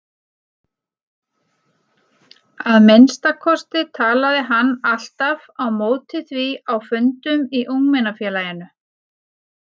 Að minnsta kosti talaði hann alltaf á móti því á fundum í ungmennafélaginu.